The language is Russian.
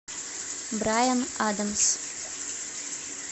брайан адамс